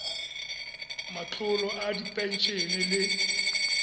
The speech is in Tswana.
matlolo a diphen ene le